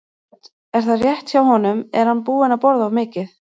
Hödd: Er það rétt hjá honum, er hann búinn að borða of mikið?